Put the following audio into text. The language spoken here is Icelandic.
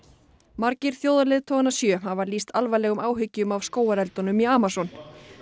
margir sjö hafa lýst alvarlegum áhyggjum af skógareldunum í Amazon